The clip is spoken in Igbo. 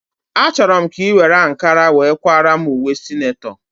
A chọrọ m ka ị were ankara were kwaara m ùwé sinetọ